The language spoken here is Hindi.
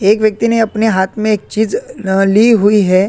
एक व्यक्ति ने अपने हाथ में एक चीज़ अ ली हुई है।